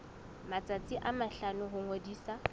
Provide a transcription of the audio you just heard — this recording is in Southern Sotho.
matsatsi a mahlano ho ngodisa